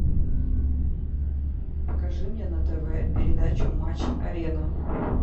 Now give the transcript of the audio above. покажи мне на тв передачу матч арена